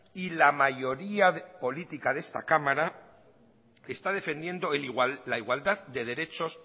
y la mayoría política de esta cámara está defendiendo la igualdad de derechos